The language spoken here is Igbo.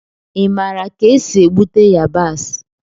Ị maara ka esi egbute yabasị?